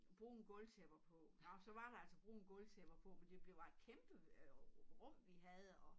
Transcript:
Brune gulvtæpper på nå så var der altså brune gulvtæpper på men det det var et kæmpe rum vi havde og